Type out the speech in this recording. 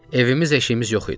Evimiz eşiyimiz yox idi.